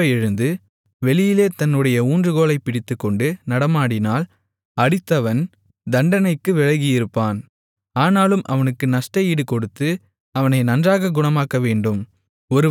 திரும்ப எழுந்து வெளியிலே தன்னுடைய ஊன்றுகோலைப் பிடித்துக்கொண்டு நடமாடினால் அடித்தவன் தண்டனைக்கு விலகியிருப்பான் ஆனாலும் அவனுக்கு நஷ்டஈடு கொடுத்து அவனை நன்றாகக் குணமாக்கவேண்டும்